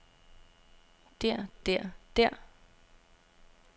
der der der